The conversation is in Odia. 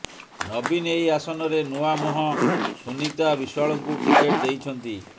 ନବୀନ ଏହି ଆସନରେ ନୂଆ ମୁହଁ ସୁନିତା ବିଶ୍ୱାଳଙ୍କୁ ଟିକେଟ ଦେଇଛନ୍ତି